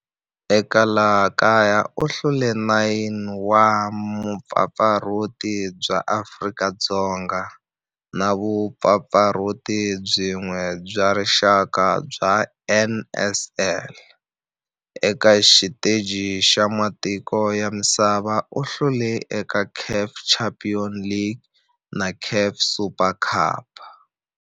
Eka laha kaya u hlule 9 wa vumpfampfarhuti bya Afrika-Dzonga na vumpfampfarhuti byin'we bya rixaka bya NSL. Eka xiteji xa matiko ya misava, u hlule eka CAF Champions League na CAF Super Cup.